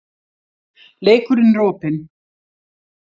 Leikurinn er opinn